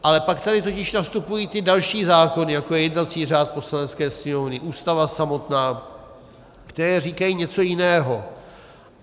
Ale pak tady totiž nastupují ty další zákony, jako je jednací řád Poslanecké sněmovny, Ústava samotná, které říkají něco jiného.